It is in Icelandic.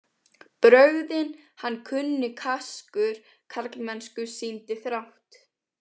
Brögðin hann kunni kaskur karlmennsku sýndi þrátt.